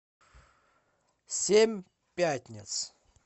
семь пятниц